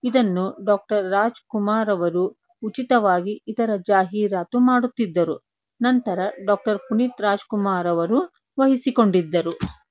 ಇದನ್ನು ಡಾಕ್ಟರ್ ರಾಜಕುಮಾರ್ ಅವರು ಉಚಿತ ವಾಗಿ ಇತರೆ ಜಾಹೀರಾತು ಮಾಡುತ್ತಿದ್ದರು ನಂತರ ಡಾಕ್ಟರ್ ಪುನೀತ್ ರಾಜಕುಮಾರ್ ಅವರು ವಹಿಸಿಕೊಂಡಿದ್ದರು.